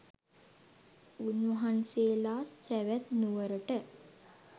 උන්වහන්සේලා සැවැත් නුවරට